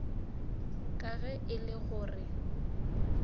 ka ge e le gore